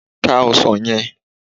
Ká ọsàn yẹ!